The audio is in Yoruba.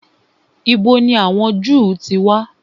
Ìbo ni àwọn Jew ti wà?